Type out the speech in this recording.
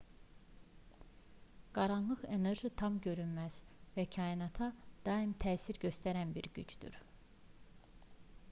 qaranlıq enerji tam görünməz və kainata daim təsir göstərən bir gücdür